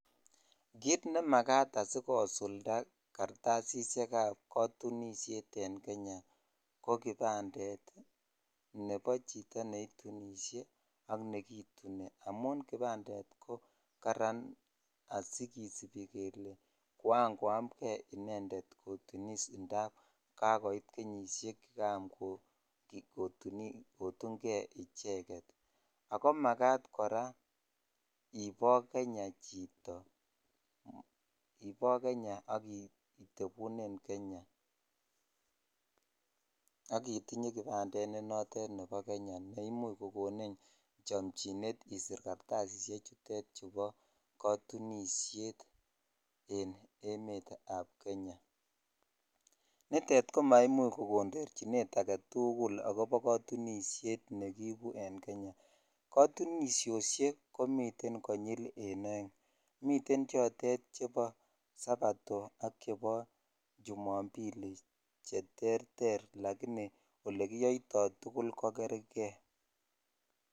Kit ne makat asikosulda karatasisyek kap katunishet en Kenya ko kipandet nobo chito ne itunishe ak nekituni amun kipandet ko karan asi kisibi kele koran koyom kee inendet ko tunis ndap kakoit kenyisiek koyam kotun kee icheget ago magat koraa ibo Kenya chito ibo Kenya akitebunen Kenya akitinye kipandet nenoton nebo kenya ne imuch ko konin chamjinet isir karatasisiek chutet chebo katunishet en emet ab Kenya nitet ko ma imuch ko ndorchinet agetugul akobo katunishet ne kiibu en Kenya katunisiosiek komiten konyil aeng miten kotinisiet nebo sabato ak nebo chumapili ak che terter lakinii olekiyoitoi tugul ko kerke